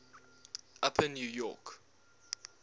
upper new york